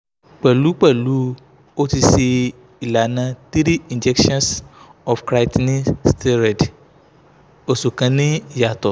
pẹlupẹlu o ti ṣe ilana 3 injections of creatinine steroid oṣu kan ni iyatọ